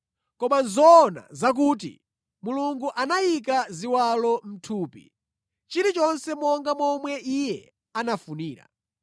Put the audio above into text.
Koma zoona nʼzakuti, Mulungu anayika ziwalo mʼthupi, chilichonse monga momwe Iye anafunira.